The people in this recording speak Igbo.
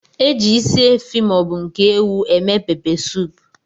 Eji ịsị efi maọbu nke ewụ eme pepe soupu.